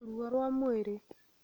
ruo rwa mwĩrĩ,